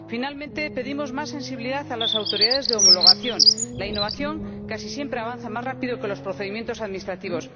Por último, pedimos más sensibilidad a las autoridades de homologación la innovación casi siempre avanza más rápidamente que los procedimientos administrativos